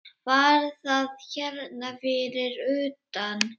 Var það hérna fyrir utan?